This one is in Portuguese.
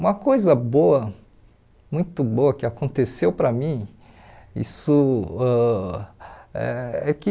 Uma coisa boa muito boa que aconteceu para mim isso ãh eh é que